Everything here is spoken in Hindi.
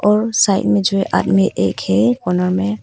और साइड मे जो आदमी एक है कोने मे--